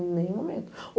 Em nenhum momento.